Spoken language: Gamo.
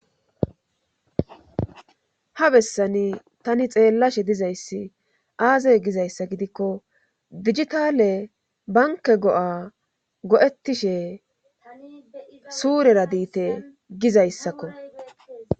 Ha bessani tani xeellashe dizayssi aazay gizayssa gidikko digitale banke go7a go7ettishe suurera diite gizayssakko.